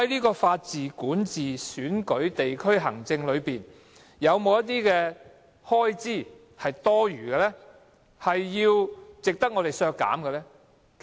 在法治、管治、選舉及地區行政方面，有否一些開支是多餘，值得削減的呢？